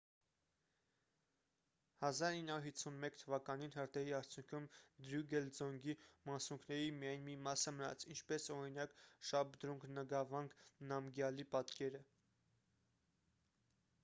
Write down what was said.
1951 թ.-ին հրդեհի արդյունքում դրուգել ձոնգի մասունքների միայն մի մասը մնաց ինչպես օրինակ՝ շաբդրունգ նգավանգ նամգյալի պատկերը։